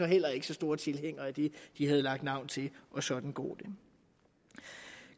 heller ikke så store tilhængere af det de havde lagt navn til og sådan går det